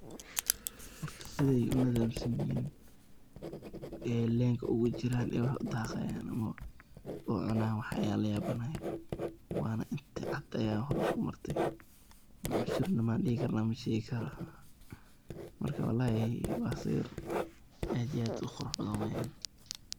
Marka sidhay unidham sanyihin ay lenka ugujiran ayay wax udaqayan ucunayan wax ayan layabanahay, wana inti caad aya hor iskumartey masurno miya ladihi kara mashegi karo marka walahi wa si ad iyo ad uqurax badhan.